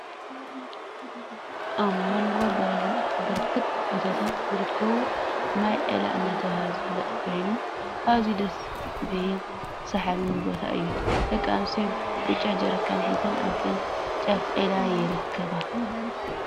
ኣብ ሞንጎ በረክቲ ቢታት ዝርከብ ማይ ዒላ እናተባህለ ዝፍለጥ ኮይኑ ኣዝዩ ደስ ብሃል ስሓብን ቦታ እዩ። ደቂ ኣንስትዮ ብጫ ጀርካን ሒዘን ኣብቲ ጫፍ ዒላ ይብርከባ።